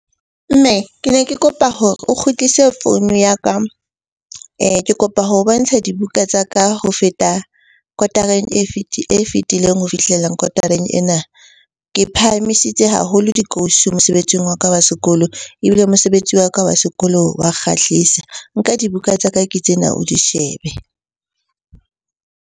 Mme ke ne ke kopa hore o kgutlise founu ya ka ke kopa ho bontsha dibuka tsa ka ho feta kotareng e fetileng ho fihlela kotareng ena. Ke phahamisitse haholo dikausi mosebetsing wa ka wa sekolo ebile mosebetsi wa ka wa sekolo wa kgahlisa. Nka dibuka tsa ka ke tsena o di shebe.